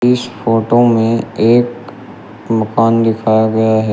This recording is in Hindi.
इस फोटो में एक मकान दिखाया गया है।